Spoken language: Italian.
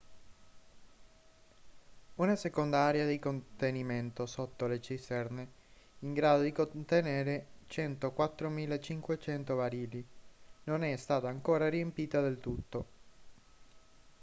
una seconda area di contenimento sotto le cisterne in grado di contenere 104.500 barili non è stata ancora riempita del tutto